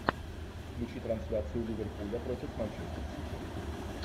включи трансляцию ливерпуля против манчестер сити